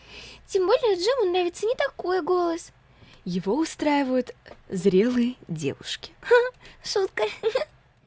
тем более джиму нравится не такой голос его устраивают зрелые девушки ха-ха шутка хи-хи